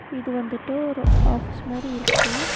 இது வந்துட்டு ஒரு ஆஃபீஸ் மாரி இருக்கு.